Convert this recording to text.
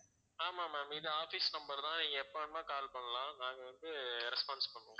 ஆமாம் ma'am இது office number தான் எப்ப வேணுமோ call பண்ணலாம் நாங்க வந்து response பண்ணுவோம்